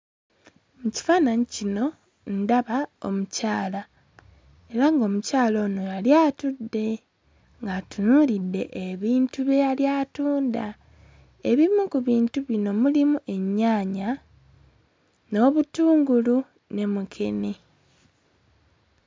Mu kifaananyi kino ndaba omukyala era ng'omukyala ono yali atudde ng'atunuulidde ebintu bye yali atunda ebimu ku bintu bino mulimu ennyaanya n'obutungulu ne mukene.